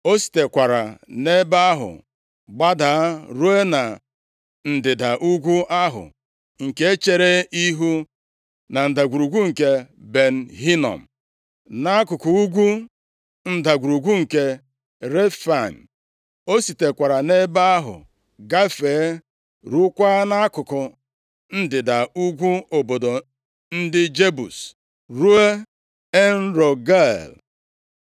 O sitekwara nʼebe ahụ gbada ruo na ndịda ugwu ahụ nke chere ihu na Ndagwurugwu nke Ben Hinom, nʼakụkụ ugwu Ndagwurugwu nke Refaim. O sitekwara nʼebe ahụ gafee ruokwa nʼakụkụ ndịda ugwu obodo ndị Jebus, ruo En-Rogel.